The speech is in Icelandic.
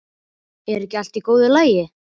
Er ekki allt í góðu lagi?